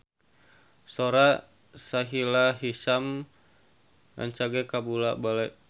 Sora Sahila Hisyam rancage kabula-bale